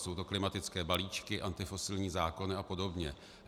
Jsou to klimatické balíčky, antifosilní zákony a podobně.